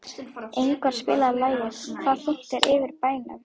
Ingvar, spilaðu lagið „Hve þungt er yfir bænum“.